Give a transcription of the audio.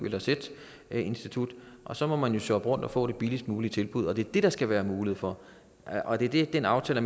eller z institut og så må man jo shoppe rundt og få det billigst mulige tilbud det er det der skal være mulighed for og det er det den aftale